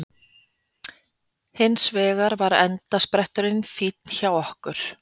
Hins vegar var endaspretturinn finn hjá okkur